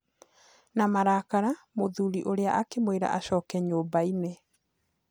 Na marakara mũthuri ũrĩa akĩmwĩra acoke nyũmbainĩ.